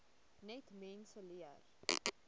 net mense leer